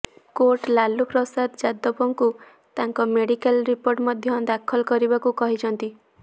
court Lalu Prasad ଯାଦବଙ୍କୁ ତାଙ୍କ medical report ମଧ୍ୟ ଦାଖଲ କରିବାକୁ କହିଛନ୍ତି